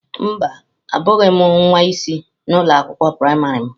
Mba, abụghị m nwa isi na ụlọ akwụkwọ praịmarị m.